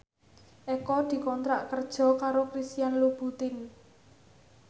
Eko dikontrak kerja karo Christian Louboutin